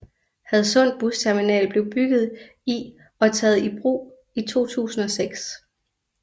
Hadsund Busterminal blev bygget i og taget i brug i 2006